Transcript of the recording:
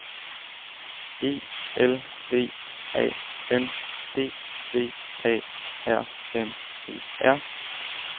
E L V A N D V A R M E R